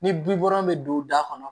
Ni bibɔ bɛ don da kɔnɔ